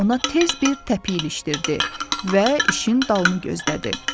Ona tez bir təpik ilişdirdi və işin dalını gözlədi.